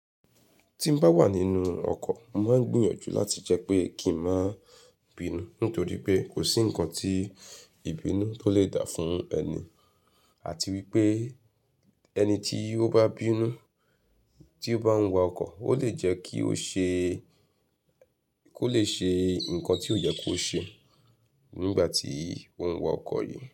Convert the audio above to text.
Tí n bá wà nínú ọkọ̀, mo máa ń gbìyànjú láti jẹ́ pé kí n má bínú nítorí pé kò sí ǹkan tí ìbínú tó lè dá fún ẹni àti wípé ẹni tí ó bá bínú tí ó bá ń wa ọkọ̀, ó lè jẹ́ kí ó ṣe, kó lè ṣe ǹkan tí ó yẹ kó ṣe nígbà tí ó ń wa ọkọ̀ yìí.